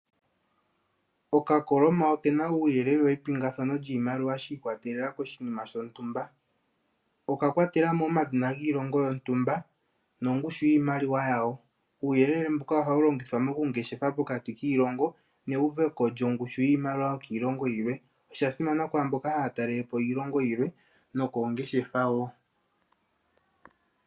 Okakoloma oke na uuyelele wepingathano lyiimaliwa shi ikwatelela koshinima shontumba. Oka kwatela mo omadhina giilongo yontumba nongushu yiimaliwa yawo. Uuyelele mbuka ohawu longithwa mokungeshefa pokati kiilongo neuveko lyongushu yiimaliwa yilwe. Osha simana kwaa mboka haya talele po iilongo yilwe nokoongeshefa woo.